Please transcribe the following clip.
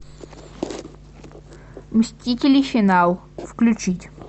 мстители финал включить